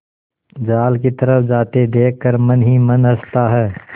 जाल की तरफ जाते देख कर मन ही मन हँसता है